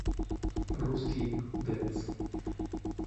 русский дэнс